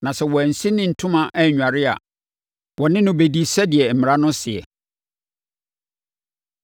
Na sɛ wansi ne ntoma annware a, wɔne no bɛdi no sɛdeɛ mmara no seɛ.’ ”